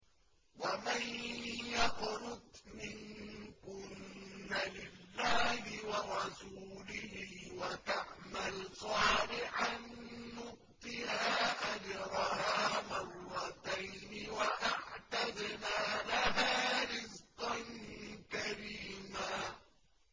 ۞ وَمَن يَقْنُتْ مِنكُنَّ لِلَّهِ وَرَسُولِهِ وَتَعْمَلْ صَالِحًا نُّؤْتِهَا أَجْرَهَا مَرَّتَيْنِ وَأَعْتَدْنَا لَهَا رِزْقًا كَرِيمًا